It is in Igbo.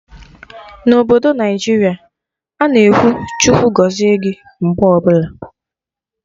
Na obodo Naijiria a-na ekwu 'Chukwu gọzie gị' mgbe ọbụla